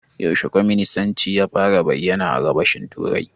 Yaushe kwaminisanci ya fara bayyana a Gabashin Turai?